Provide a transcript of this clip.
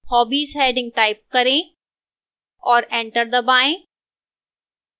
hobbies heading type करें और enter दबाएं